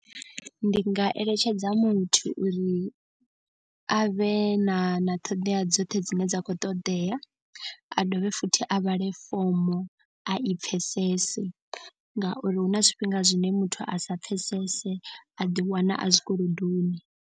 Ndi nga eletshedza muthu uri a vhe na na ṱhoḓea dzoṱhe dzine dza khou ṱoḓea. A dovhe futhi a vhale fomo a i pfhesese. Ngauri hu na zwifhinga zwine muthu a sa pfesese a ḓi wana a zwikolodoni.